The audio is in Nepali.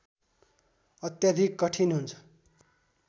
अत्याधिक कठिन हुन्छ